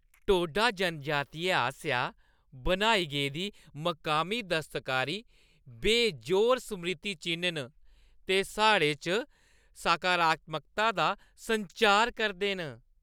टोडा जनजातियें आसेआ बनाई गेदी मकामी दस्तकारी बेजोड़ स्मृति-चि'न्न न ते साढ़े च सकारात्मकता दा संचार करदे न।